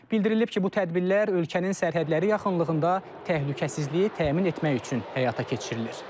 Bildirilib ki, bu tədbirlər ölkənin sərhədləri yaxınlığında təhlükəsizliyi təmin etmək üçün həyata keçirilir.